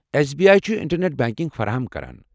S B I چھُ internet banking فراہم كران ۔